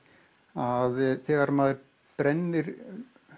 að þegar maður brennir